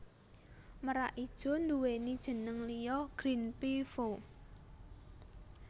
Merak ijo nduwèni jeneng liya Green Peafow